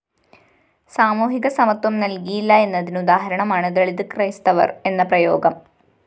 സാമൂഹികസമത്വം നല്‍കിയില്ല എന്നതിന് ഉദാഹരണമാണ് ദളിത് ക്രൈസ്തവര്‍ എന്ന പ്രയോഗം